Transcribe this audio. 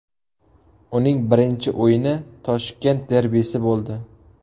Uning birinchi o‘yini Toshkent derbisi bo‘ldi.